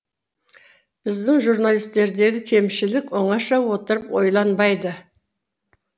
біздің журналистердегі кемшілік оңаша отырып ойланбайды